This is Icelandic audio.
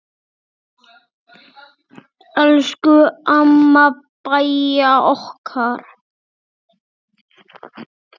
Elsku amma Bæja okkar.